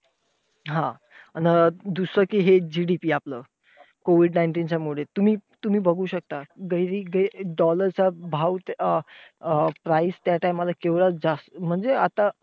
हा! दुसरं कि हे GDP आपलं COVID nineteen च्या मुळे तुम्ही तुम्ही बघू शकतात. dollar चा गैर dollar चा भाव अं ते अं price त्या time ला केवढा जास्त. म्हणजे आता,